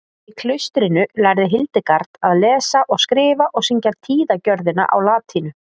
í klaustrinu lærði hildegard að lesa og skrifa og syngja tíðagjörðina á latínu